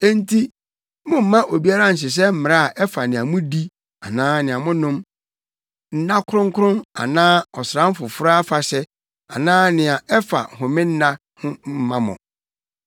Enti mommma obiara nhyehyɛ mmara a ɛfa nea mudi anaa nea monom, nna kronkron anaa ɔsram foforo afahyɛ anaa nea ɛfa homenna ho mmma mo.